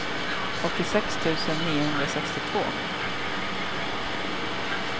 åttiosex tusen niohundrasextiotvå